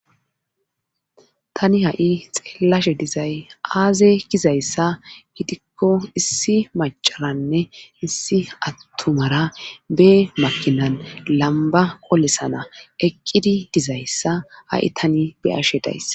tani ha7i xeellashe dizay aaze gizayssa gidikko issi macaranne issi attumara be makinan lamba qolisana eqqidi dizayssa ha7i tani be'ashe dayss